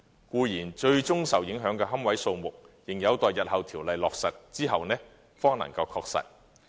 固然，最終受影響的龕位數目，仍有待日後條例落實後方能確實。